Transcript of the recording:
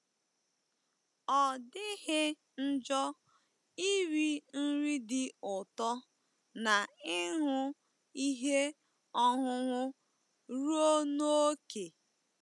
Ọ dịghị njọ iri nri dị ụtọ na ịṅụ ihe ọṅụṅụ ruo n’ókè.